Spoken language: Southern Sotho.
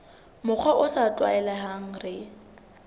mokgwa o sa tlwaelehang re